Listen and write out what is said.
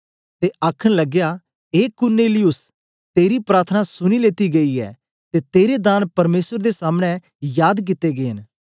ते आखन लगया ए कुरनेलियुस तेरी प्रार्थना सुनी लेती गई ऐ ते तेरे दान परमेसर दे सामने याद कित्ते गै न